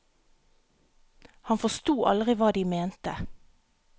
Han forsto aldri hva de mente.